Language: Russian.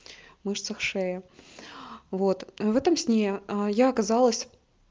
мышцах шеи вот в этом сне я оказалась